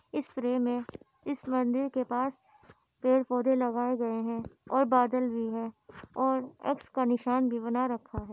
इस फ्रेम मे इस मंदिर के पास पेड़-पोधे लगाए गए है और बादल भी है और एक्स का निशान भी बना रखा है।